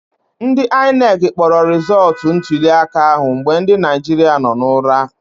Ndị INEC kpọrọ rịzọtụ ntuliaka ahụ mgbe ndị Naijiria nọ n'ụra